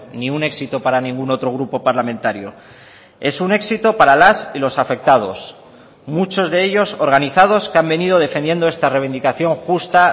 ni un éxito para ningún otro grupo parlamentario es un éxito para las y los afectados muchos de ellos organizados que han venido defendiendo esta reivindicación justa